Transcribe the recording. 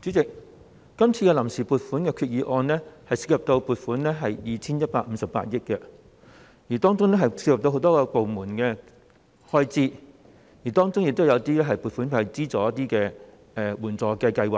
主席，今次臨時撥款決議案涉及 2,158 億元，當中牽涉到很多部門的開支，亦有些撥款會用於資助援助計劃，